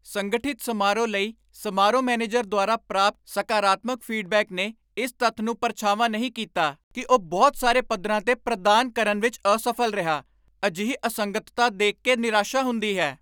ਸੰਗਠਿਤ ਸਮਾਰੋਹ ਲਈ ਸਮਾਰੋਹ ਮੈਨੇਜਰ ਦੁਆਰਾ ਪ੍ਰਾਪਤ ਸਕਾਰਾਤਮਕ ਫੀਡਬੈਕ ਨੇ ਇਸ ਤੱਥ ਨੂੰ ਪਰਛਾਵਾਂ ਨਹੀਂ ਕੀਤਾ ਕਿ ਉਹ ਬਹੁਤ ਸਾਰੇ ਪੱਧਰਾਂ 'ਤੇ ਪ੍ਰਦਾਨ ਕਰਨ ਵਿੱਚ ਅਸਫ਼ਲ ਰਿਹਾ। ਅਜਿਹੀ ਅਸੰਗਤਤਾ ਦੇਖ ਕੇ ਨਿਰਾਸ਼ਾ ਹੁੰਦੀ ਹੈ।